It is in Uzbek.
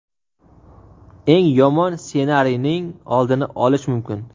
eng yomon ssenariyning oldini olish mumkin.